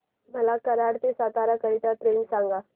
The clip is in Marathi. मला कराड ते सातारा करीता ट्रेन सांगा